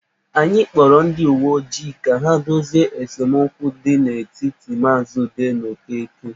Anyị kpọrọ ndị uwe ojii ka ha dozie esemokwu nọ n'etiti maazị Ude na Okeke.